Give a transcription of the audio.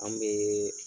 An bɛ